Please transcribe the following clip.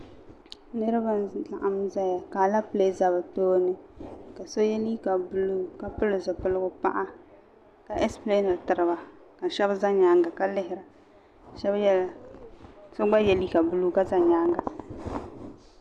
Niriba n-laɣim zaya ka aleepile za bɛ tooni ka so ye liiga buluu ka pili zupiligu paɣa ka esipileeniri tiri ba ka shɛba za nyaaŋa ka lihira so gba ye liiga buluu ka za nyaaŋa